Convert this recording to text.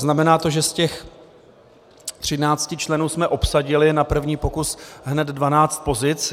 Znamená to, že z těch třinácti členů jsme obsadili na první pokus hned dvanáct pozic.